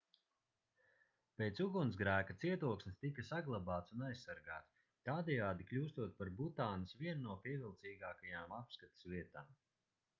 pēc ugunsgrēka cietoksnis tika saglabāts un aizsargāts tādējādi kļūstot par butānas vienu no pievilcīgākajām apskates vietām